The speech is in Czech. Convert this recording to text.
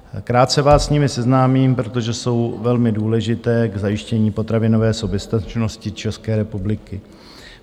Krátce vás s nimi seznámím, protože jsou velmi důležité k zajištění potravinové soběstačnosti České republiky.